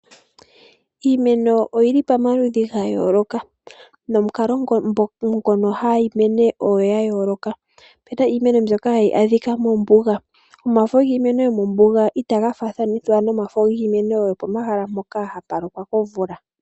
Iimeno oyili pomaludhi gayooloka nomukalo ngono hayi mene ogwayooloka. Opuna iimeno mbyono hayi adhika mombuga. Omafo giimeno yomombuga itaga faathanithwa nomafo giimeno mbyoka hayi mene mpoka hapu lokwa komvula.